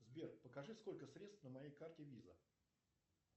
сбер покажи сколько средств на моей карте виза